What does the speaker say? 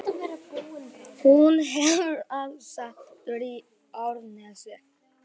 Hún hefur aðsetur í Árnesi.